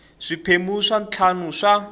swiphemu swa ntlhanu swa